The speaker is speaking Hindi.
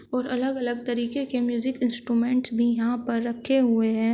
और अलग अलग तरीके के म्यूजिक इंस्ट्रूमेंट भी यहां पर रखे हुए हैं।